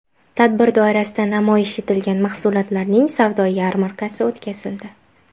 Tadbir doirasida namoyish etilgan mahsulotlarning savdo yarmarkasi o‘tkazildi.